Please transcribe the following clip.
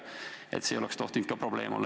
See ei oleks tohtinud ka probleem olla.